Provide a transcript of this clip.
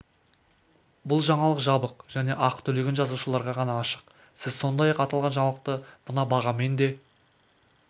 бұл жаңалық жабық және ақы төлеген жазылушыларға ғана ашық сіз сондай-ақ аталған жаңалықты мына бағамен де